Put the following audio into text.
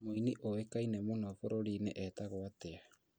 Mũini ũĩkane mũno bũrũrũrinĩ etagwo atia?